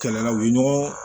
Kɛlɛla u ye ɲɔgɔn